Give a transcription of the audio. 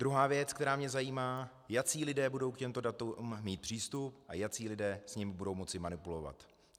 Druhá věc, která mě zajímá: Jací lidé budou k těmto datům mít přístup a jací lidé s nimi budou moci manipulovat?